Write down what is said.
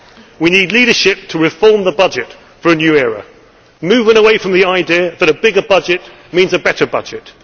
see. We need leadership to reform the budget for a new era, moving away from the idea that a bigger budget means a better budget.